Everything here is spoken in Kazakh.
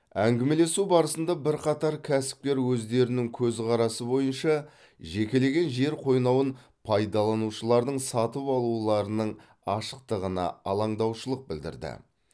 әңгімелесу барысында бірқатар кәсіпкер өздерінің көзқарасы бойынша жекелеген жер қойнауын пайдаланушылардың сатып алуларының ашықтығына алаңдаушылық білдірді